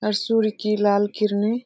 और सूर्य की लाल किरणें --